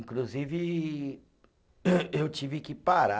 Inclusive, eu tive que parar